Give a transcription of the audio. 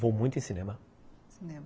Vou muito em cinema. Cinema!